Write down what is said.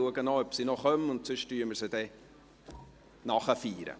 Ich schaue, ob sie noch kommt, und sonst feiern wir sie nachträglich.